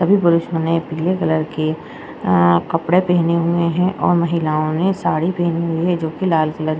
सभी पुरुषों ने पीले कलर की अ कपड़े पहने हुए हैं और महिलाओं ने साड़ी पहनी हुई है जो की लाल कलर --